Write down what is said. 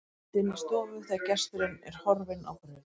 Mæðgurnar sitja inni í stofu þegar gesturinn er horfinn á braut.